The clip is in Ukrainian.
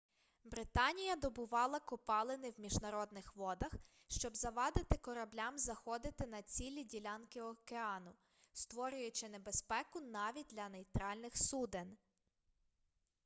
британія добувала копалини в міжнародних водах щоб завадити кораблям заходити на цілі ділянки океану створюючи небезпеку навіть для нейтральних суден